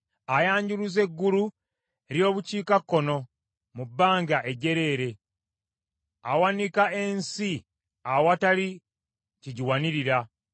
Ayanjuluza eggulu ery’obukiikakkono mu bbanga ejjereere, awanika ensi awatali kigiwanirira.